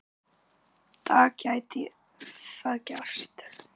dag gæti það gerst.